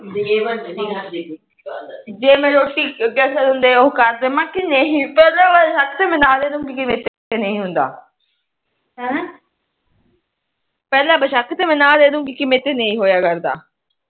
ਪਹਿਲਾ ਮੈ ਬਸ਼ੱਕ ਤੇ ਨਾਹ ਦੇਦੁਗੀ ਕੇ ਮੇਰੇ ਤੋ ਨਹੀਂ ਹੋਇਆ ਕਰਦਾ